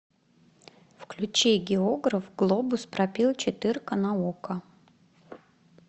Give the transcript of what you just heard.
включи географ глобус пропил четырка на окко